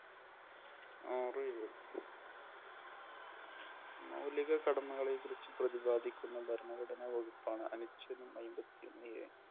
ആറു ഏഴ്. മൗലിക കടമകളെക്കുറിച്ച് പ്രതിപാദിക്കുന്ന ഭരണഘടനാ വകുപ്പാണ് അനുച്ഛേദം അയിമ്പതിഒന്ന് A